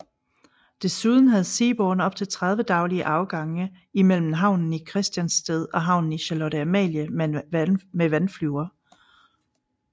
Desuden havde Seaborne op til 30 daglige afgange imellem havnen i Christiansted og havnen i Charlotte Amalie med vandflyver